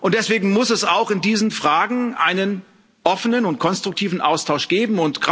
Deswegen muss es auch in diesen Fragen einen offenen und konstruktiven Austausch geben.